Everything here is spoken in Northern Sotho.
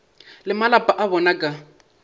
le malapa a bona ka